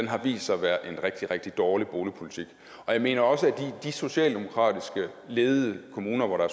har vist sig at være en rigtig rigtig dårlig boligpolitik jeg mener også at i de socialdemokratisk ledede kommuner hvor der